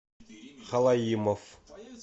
халаимов